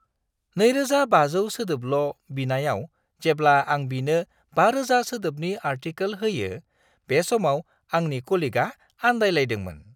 2500 सोदोबल' बिनायाव जेब्ला आं बिनो 5000 सोदोबनि आर्टिकेल होयो बे समाव आंनि कलिगआ आन्दायलायदोंमोन।